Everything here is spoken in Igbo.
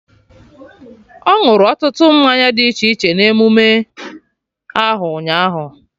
Ọ ñụrụ ọtụtụ mmanya dị iche iche na emume ahụ, ụnyaahụ